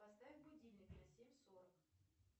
поставь будильник на семь сорок